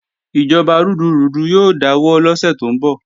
Ìjọba rúdurùdu yóò dáwọ́ lọ́sẹ̀ tó ń bọ̀